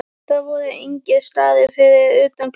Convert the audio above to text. Það voru engir starrar fyrir utan gluggann.